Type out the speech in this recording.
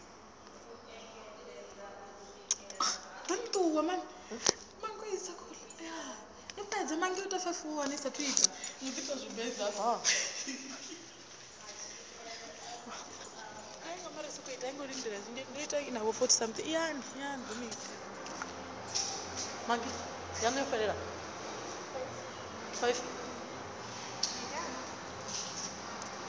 ya u da u mala